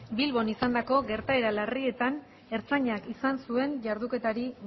bilbon izandako gertaera larrietan ertzaintzak izan zuen jarduketari